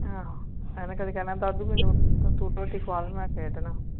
ਅਹ ਏਹ ਤਾ ਕਦੀ ਕਹਿੰਦਾ ਦਾਦੂ ਤੂੰ ਰੋਟੀ ਖ਼ਵਾ ਦੇ ਮੈਂ ਖੇਡਣਾ